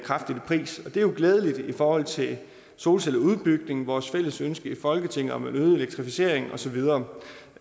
pris det er jo glædeligt i forhold til solcelleudbygning vores fælles ønske i folketinget om en øget elektrificering og så videre